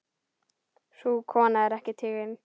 Sú kona er ekki tigin.